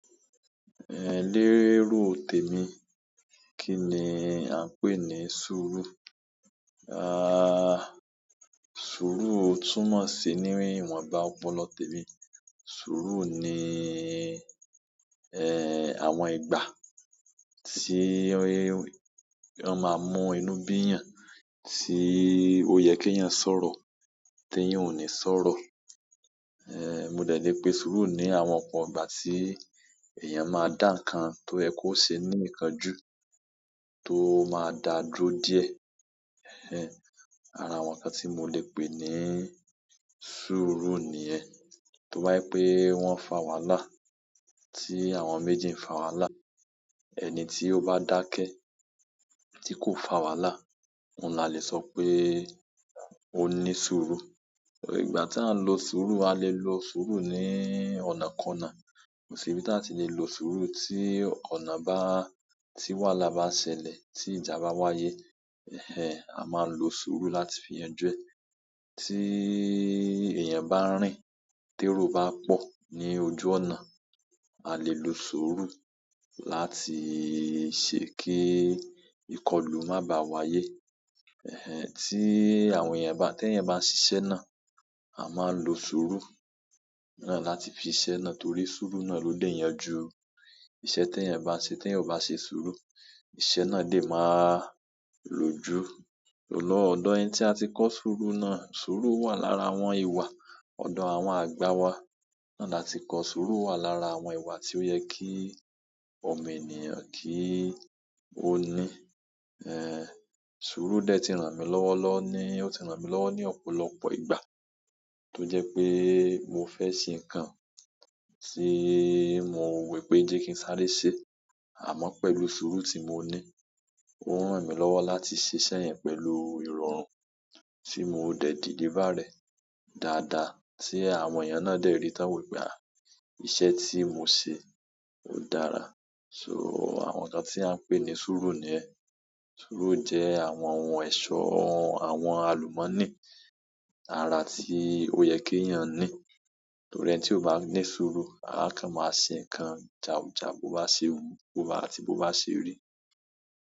Ehn, lérò tèmi, kí ni a ń pè ni sùúrù? Ah, sùúrù túmọ̀ sí ní ìwọ̀nba ọpọlọ tèmi. Sùúrù ni àwọn ìgbà tí wọ́n máa mú inú bí'yàn, tí ó yẹ kéèyàn sọ̀rọ̀ téèyàn ò ní sọ̀rọ̀. Ehn, mo dẹ̀ lé pe sùúrù ni àwọn ọ̀pọ ìgbà tí èèyàn máa dá nǹkan tó yẹ kó ṣe ní ìkánjú tó máa dáa dúró díẹ̀. Ara àwọn nǹkan tí mo le pè ní sùúrù nìyẹn. Tó bá jẹ́ pé wọ́n ń fà wàhálà, tí àwọn méjì ń fà wàhálà, ẹni tí ó bá dákẹ́ tí kò fà wàhálà, òun la le sọ pé ó ní sùúrù. Ìgbà tí à ń lo sùúrù, a lè lo sùúrù ní ọ̀nàkọnà. Kò sì ibi tí a ti lè lo sùúrù tí ọ̀nà bá, tí wàhálà bá ṣẹlẹ̀, tí ìjà bá wáyé, a máa ń lo sùúrù láti fi yanjú ẹ̀. Tí èèyàn bá ń rìn, térò bá pọ̀ ní ojú ọ̀nà, a lè lo sùúrù láti ṣe kí ìkọlù má baà wáyé. Tí àwọn èèyàn bá, téèyàn bá ń ṣiṣẹ́ náà, a máa ń lo sùúrù náà láti fi ṣiṣẹ́ náà torí sùúrù náà ló lè yanjú iṣẹ́ téèyàn bá ń ṣe. Téèyàn ò bá ṣe sùúrù, iṣẹ́ náà lè má lójú. Olóòọdú, ẹni tí a ti kọ sùúrù náà, sùúrù wà lára àwọn ìwà ọ̀dọ̀ àwọn àgbà wa. Náà la ti kọ sùúrù wà lára àwọn ìwà tí ó yẹ kí ọmọ ènìyàn kí ó ní. Sùúrù dẹ̀ ti ràn mí lọ́wọ́ lọ ní, ó ti ràn mí lọ́wọ́ ní ọ̀pọ̀lọpọ̀ ìgbà tó jẹ́ pé mo fẹ́ ṣe nǹkan tí mò wò wípé jẹ́ kí n sáré ṣeé àmọ́ pẹ̀lú sùúrù tí mo ní, ó ń ràn mí lọ́wọ́ láti ṣiṣẹ́ yẹn pẹ̀lú ìrọ̀rùn tí mò dẹ̀ deliver rẹ̀ dáadáa tí àwọn èèyàn náà dẹ̀ rí tán wòó wípé iṣẹ́ tí mò ṣe ó dára. So, àwọn nǹkan tí a ń pè ní sùúrù nìyẹn. Sùúrù jẹ́ àwọn ohun ẹ̀ṣọ́ àwọn àlùmọ́ọ́nì ara tí ó yẹ kéèyàn ní. Torí ẹni tí ò bá ní sùúrù, áá kàn máa ṣe nǹkan jàù jàù, bó bá ṣe wùú, bó bá àti bó bá ṣe rí.